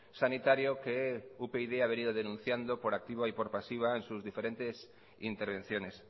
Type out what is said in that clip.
sanitario que upyd ha venido denunciando por activa y por pasiva en sus diferentes intervenciones